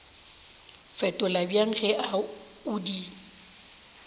fetola bjang ge o di